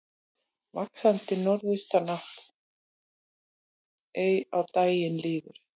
Vaxandi norðaustanátt er á daginn líður